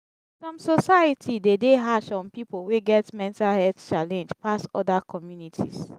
some society de dey hash on pipo wey get mental health challenge pass oda communities